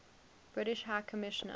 british high commissioner